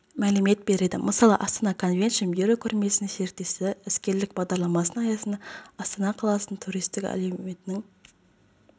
мәлімет береді мысалы астана конвеншн бюро көрмесінің серіктесі іскерлік бағдарламасының аясында астана қаласының туристік әлеуетін